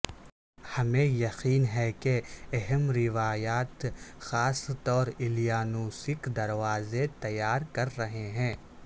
ہمیں یقین ہے کہ اہم روایات خاص طور الیانوسک دروازے تیار کر رہے ہیں